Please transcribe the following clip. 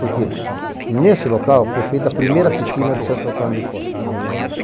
Porque nesse local foi feita a primeira piscina de Santo Antônio de Poce, imagina você.